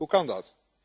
Hoe kan dat?